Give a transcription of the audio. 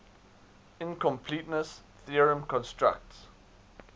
incompleteness theorem constructs